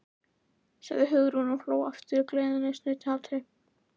sagði Hugrún og hló aftur gleðisnauðum hlátri.